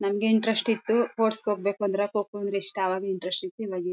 ನಂಗೆ ಇಂಟ್ರೆಸ್ಟ್ ಇತ್ತು ಸ್ಪೋರ್ಟ್ಸ್ ಹೋಗ್ಬೇಕು ಅಂದ್ರೆ ಕೋಕೋ ಅಂದ್ರೆ ಇಷ್ಟ ಅವಾಗ್ ಇಂಟ್ರೆಸ್ಟ್ ಇತ್ತು ಇವಾಗು--